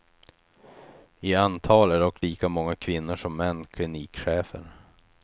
I antal är dock lika många kvinnor som män klinikchefer.